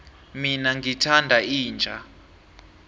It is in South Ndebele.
mina ngithanda inja